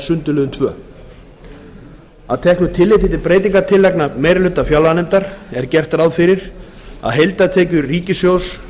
sundurliðun annars að teknu tilliti til breytingartillagna meiri hluti fjárlaganefndar er gert ráð fyrir að heildartekjur ríkissjóðs verði